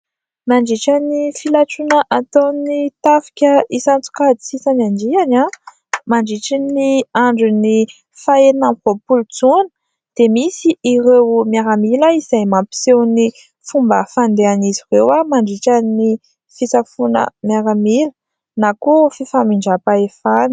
Mandritra ny filatroana ataon'ny tafika isan-tsokajy sy isan'andiany, mandritra ny andron'ny fahaenina amby roapolo jona, dia misy ireo miaramila izay mampiseho ny fomba fandehan'izy ireo mandritra ny fisafoana miaramila na koa fifamindram-pahefana.